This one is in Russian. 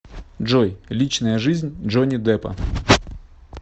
джой личная жизнь джонни деппа